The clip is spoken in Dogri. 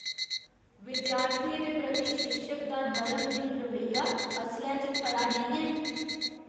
विद्यार्थियें दे प्रति शिक्षक दा नरमदिल रवैया असलै च खरा नेईं ऐ।